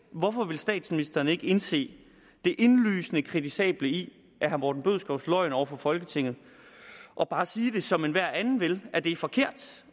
hvorfor vil statsministeren ikke indse det indlysende kritisable i herre morten bødskovs løgn over for folketinget og bare sige det som enhver anden vil at det er forkert